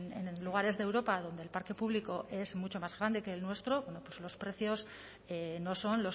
que en lugares de europa donde el parque público es mucho más grande que el nuestro bueno pues los precios no son